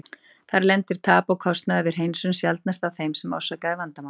Þar lendir tap og kostnaður við hreinsun sjaldnast á þeim sem orsakaði vandamálið.